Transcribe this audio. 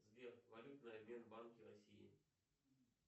сбер валютный обмен в банке россии